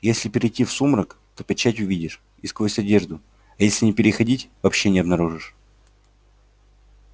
если перейти в сумрак то печать увидишь и сквозь одежду а если не переходить вообще не обнаружишь